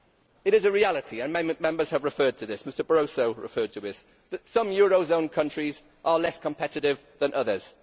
It is a reality and Members have referred to this, Mr Barroso referred to this that some euro zone countries are less competitive than others.